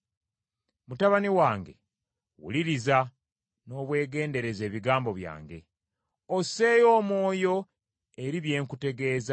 Mutabani wange wuliriza n’obwegendereza ebigambo byange; osseeyo omwoyo eri bye nkutegeeza;